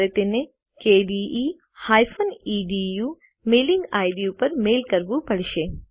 તમારે તેને kde EDU mailing ID ઉપર મેઇલ કરવું પડશે